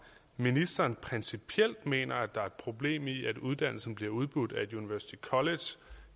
ministeren principielt mener at der er et problem i at uddannelsen bliver udbudt af et university college